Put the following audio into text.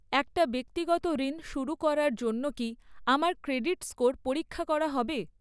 একটা ব্যক্তিগত ঋণ শুরু করার জন্য কি আমার ক্রেডিট স্কোর পরীক্ষা করা হবে?